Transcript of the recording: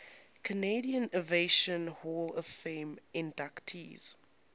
canadian aviation hall of fame inductees